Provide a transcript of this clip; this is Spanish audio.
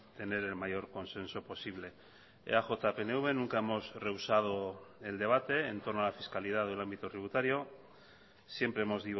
tener el mayor consenso posible eaj pnv nunca hemos rehusado el debate en torno a la fiscalidad del ámbito tributario siempre hemos